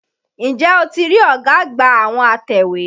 N jẹ́ o ti rí ọ̀gá àgbà àwọn atẹ̀wé?